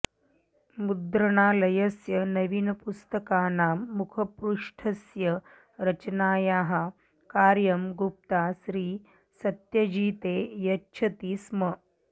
मुद्रणालयस्य नवीनपुस्तकानां मुखपृष्ठस्य रचनायाः कार्यं गुप्ता श्रीसत्यजिते यच्छति स्म